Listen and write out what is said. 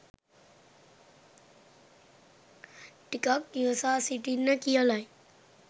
ටිකක් ඉවසා සිටින්න කියලයි